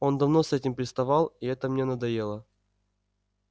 он давно с этим приставал и это мне надоело